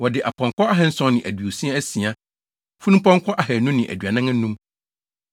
Wɔde apɔnkɔ ahanson ne aduasa asia (736), funumpɔnkɔ ahannu ne aduanan anum (245).